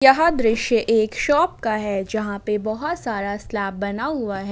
यह दृश्य एक शॉप का है जहां पे बहोत सारा स्लैप बना हुआ है।